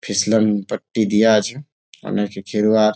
ফিসলান পট্টি দেওয়া আছে অনেক খেলোয়াড়--